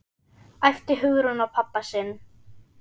æpti Hugrún á pabba sinn.